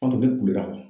An tun bɛ kule ka bɔ